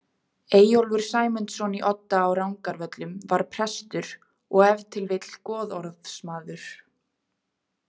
Eyjólfur Sæmundsson í Odda á Rangárvöllum var prestur og ef til vill goðorðsmaður.